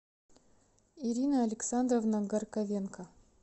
ирина александровна горковенко